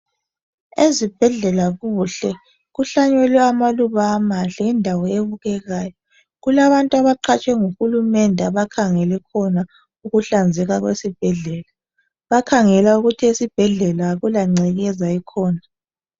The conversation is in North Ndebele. Ezibhedlela kuhle, kuhlanyelwe amaluba amahle yindawo ebukekayo. Kulabantu abaqhatshwe nguhulumende abakhangele khona ukuhlanzeka kwesibhedlela. Bakhangela ukuthi esibhedlela akulangcekeza ekhona.